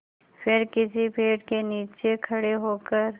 फिर किसी पेड़ के नीचे खड़े होकर